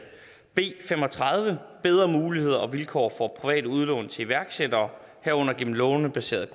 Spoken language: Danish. b fem og tredive om bedre muligheder og vilkår for private udlån til iværksættere herunder gennem lånebaseret